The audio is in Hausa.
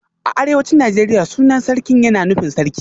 A arewacin Najeriya sunan Sarkin yana nufin Sarki